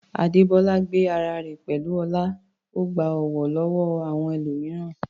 Adebola gbé ara rẹ̀ pẹ̀lú ọlá, ó gba ọ̀wọ̀ lọ́wọ́ àwọn ẹlòmíràn.